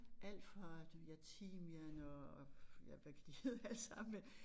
Alt fra du ved ja timian og ja hvad kan de hedde alle sammen men